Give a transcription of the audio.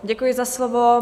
Děkuji za slovo.